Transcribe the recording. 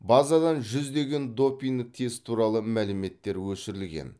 базадан жүздеген допинг тест туралы мәліметтер өшірілген